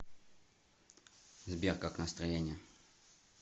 сбер как настроение